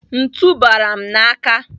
Ntu bara m n'aka.